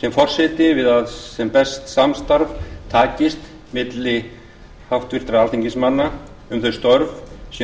sem forseti við að sem best samstarf takist milli allra háttvirtra alþingismanna um þau störf sem þjóðin